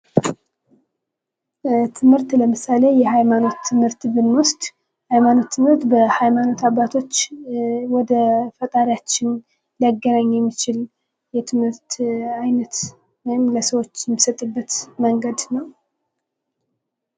በትምህርት ለምሳሌ የሃይማኖት ትምህርትን ብንወስድ የሃይማኖት ትምህርት በሃይማኖት አባቶች ወደ ፈጣሪያችን ሊገናኝ የሚችል የትምህርት አይነት ወይም ለሰዎች የሚጠጡበት መንገድ ነው ::